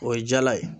O ye jala ye